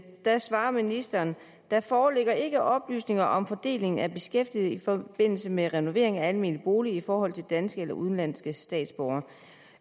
svarer ministeren der foreligger ikke oplysninger om fordelingen af beskæftigede i forbindelse med renovering af almene boliger i forhold til danske eller udenlandske statsborgere